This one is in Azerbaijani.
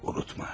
Unutma.